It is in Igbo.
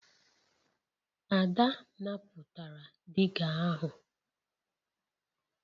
Ada napụtara diga ahụ